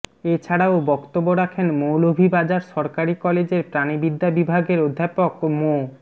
এছাড়াও বক্তব্য রাখেন মৌলভীবাজার সরকারি কলেজের প্রাণিবিদ্যা বিভাগের অধ্যাপক মো